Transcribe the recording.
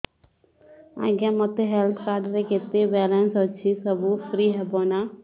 ଆଜ୍ଞା ମୋ health card ରେ କେତେ ବାଲାନ୍ସ ଅଛି ସବୁ ଫ୍ରି ହବ ନାଁ